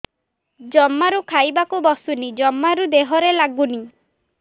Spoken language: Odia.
ଜମାରୁ ଖାଇବାକୁ ବସୁନି ଜମାରୁ ଦେହରେ ଲାଗୁନି